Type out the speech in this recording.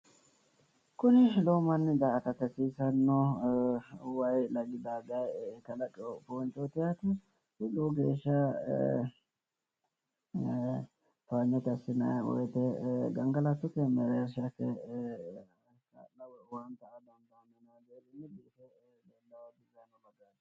Kuni lowo manni daa"atate hasiisanno wayi lagi dadaye kalaqiwo foonchooti yaate. Lowo geeshsha towanyote assinayi woyite gangalattote owaante aa dandaanno.